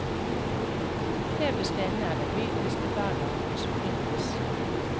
Klebersten er den mykeste bergarten som finnes.